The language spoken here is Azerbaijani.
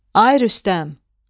Ay Rüstəm!